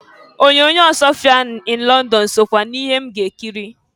Onyoonyo Ọsụọfịa in Lọndọn sokwa n'ihe m ga-ekiri.